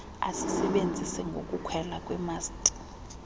asisebenzise ngokukhwela kwimasti